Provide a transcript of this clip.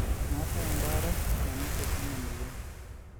meetae ebaare nanotoki eina moyian